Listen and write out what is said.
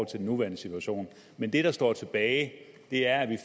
til den nuværende situation men det der står tilbage er at vi